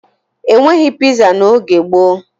E nweghi piza n'oge gboo